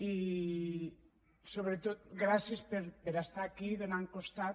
i sobretot gràcies per ser aquí fent costat